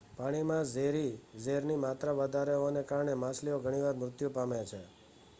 પાણીમાં ઝેરી ઝેરની માત્રા વધારે હોવાને કારણે માછલીઓ ઘણી વાર મૃત્યુ પામે છે